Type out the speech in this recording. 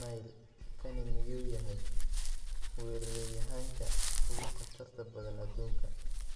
(Mail) Kani miyuu yahay weeraryahanka ugu khatarta badan adduunka?